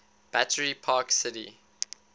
battery park city